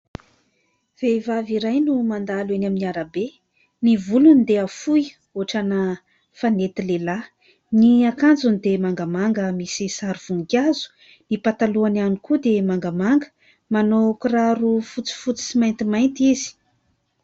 Vehivavy iray no mandalo eny amin'ny arabe, ny volony dia fohy hoatrana fanety lehilahy, ny akanjony dia mangamanga misy sary voninkazo, ny patalohany ihany koa dia mangamanga, manao kiraro fotsifotsy sy maintimainty izy.